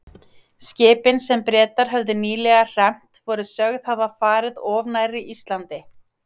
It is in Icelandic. Skipin, sem Bretar höfðu nýlega hremmt, voru sögð hafa farið of nærri Íslandi.